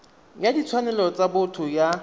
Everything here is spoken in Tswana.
ya ditshwanelo tsa botho ya